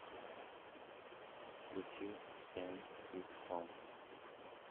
включи сэм вик сон